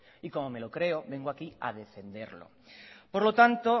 y como me lo creo vengo aquí a defenderlo por lo tanto